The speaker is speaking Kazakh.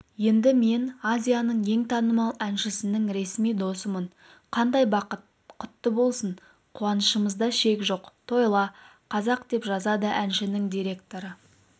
енді мен азияның ең танымал әншісінің ресми досымын қандай бақыт құтты болсын қуанышымызда шек жоқ тойла қазақ деп жазады әншінің директоры